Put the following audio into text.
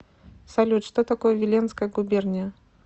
салют что такое виленская губерния